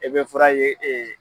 E be fura ye e